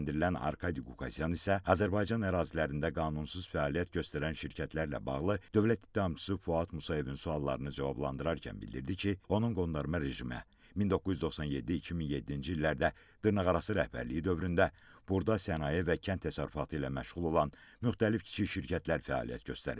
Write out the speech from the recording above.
Təqsirləndirilən Arkadi Qukasyan isə Azərbaycan ərazilərində qanunsuz fəaliyyət göstərən şirkətlərlə bağlı dövlət ittihamçısı Fuad Musayevin suallarını cavablandırarkən bildirdi ki, onun qondarma rejimə 1997-2007-ci illərdə dırnaqarası rəhbərliyi dövründə burda sənaye və kənd təsərrüfatı ilə məşğul olan müxtəlif kiçik şirkətlər fəaliyyət göstərib.